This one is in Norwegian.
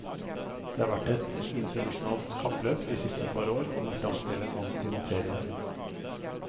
Det har vært et internasjonalt kappløp de siste par år om å fremstille antimaterie.